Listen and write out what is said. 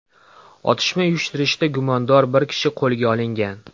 Otishma uyushtirishda gumondor bir kishi qo‘lga olingan.